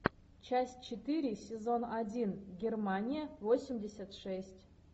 часть четыре сезон один германия восемьдесят шесть